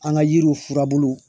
An ka yiriw furabulu